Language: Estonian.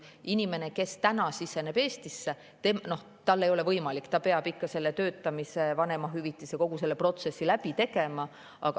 Inimene, kes tuleb Eestisse, peab ikka kõigepealt siin töötama, vanemahüvitist saama ja kogu selle protsessi läbi tegema.